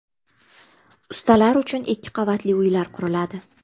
Ustalar uchun ikki qavatli uylar quriladi.